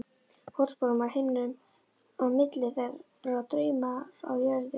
Fótsporum á himnum, á milli þeirra Draumar á jörðu.